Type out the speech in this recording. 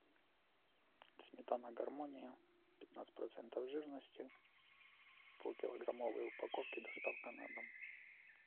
сметана гармония пятнадцать процентов жирности в полкилограммовой упаковке доставка на дом